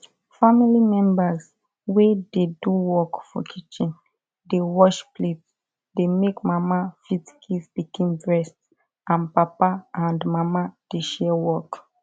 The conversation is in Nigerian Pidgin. family members wey dey do work for kitchen dey wash plate dey make mama fit give pikin breast and papa and mama dey share work